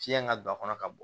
Fiɲɛ ka don a kɔnɔ ka bɔ